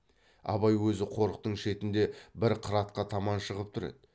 абай өзі қорықтың шетінде бір қыратқа таман шығып тұр еді